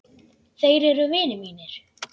Þeir eru vinir mínir.